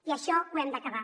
i això ho hem d’acabar